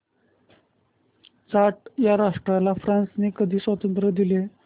Chad या राष्ट्राला फ्रांसने कधी स्वातंत्र्य दिले